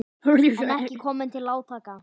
En ekki kom til átaka.